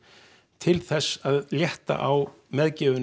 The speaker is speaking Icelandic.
til þess að létta á meðgjöfinni